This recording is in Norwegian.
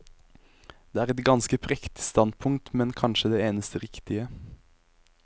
Det er et ganske prektig standpunkt, men kanskje det eneste riktige.